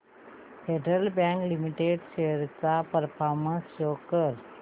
federal bank limited shares चा performance show कर